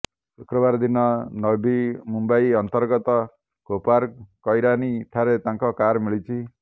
ଶୁକ୍ରବାର ଦିନ ନଓ୍ବି ମୁମ୍ବାଇ ଅନ୍ତର୍ଗତ କୋପାରକୈରାନି ଠାର ତାଙ୍କ କାର ମିଳିଛି